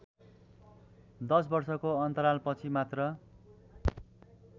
दश वर्षको अन्तरालपछि मात्र